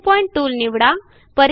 new point tool निवडा